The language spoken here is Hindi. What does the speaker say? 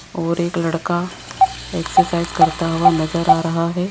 और एक लड़का एक्सरसाइज करता हुआ नजर आ रहा है।